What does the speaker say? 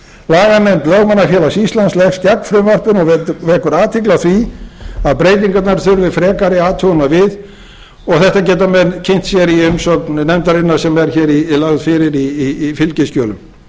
laganefnd lögmannafélags íslands leggst gegn frumvarpinu og vekur athygli á því að breytingarnar þurfi frekari athugunar við og þetta geta menn kynnt sér nefndarinnar sem er hér lögð fyrir í fylgiskjölum